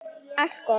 Allt gott.